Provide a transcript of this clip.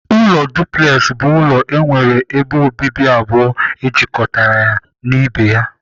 Ụlọ duplex bụ ụlọ nwere ebe obibi abụọ ejikọtara ya na ibe ya.